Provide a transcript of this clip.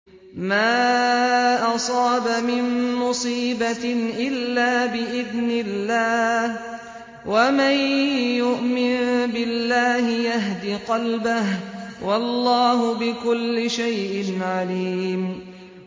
مَا أَصَابَ مِن مُّصِيبَةٍ إِلَّا بِإِذْنِ اللَّهِ ۗ وَمَن يُؤْمِن بِاللَّهِ يَهْدِ قَلْبَهُ ۚ وَاللَّهُ بِكُلِّ شَيْءٍ عَلِيمٌ